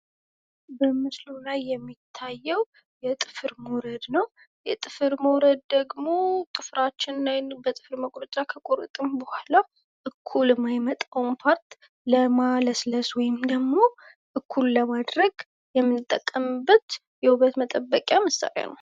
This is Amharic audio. በምስሉ ላይ የሚታየው የጥፍር ሞረድ ነው ።የጥፍር ሞረድ ደግሞ ጥፍራችን በጥፍር መቁረጫ ከቆረጥን በኋላ እኩል ማይመጣውን ፓርት እኩል ለማድረግ የምንጠቀምበት የውበት መጠበቅያ ነው ።